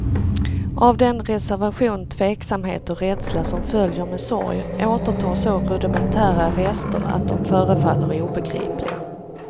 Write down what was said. Av den reservation, tveksamhet och rädsla som följer med sorg återtar så rudimentära rester att de förefaller obegripliga.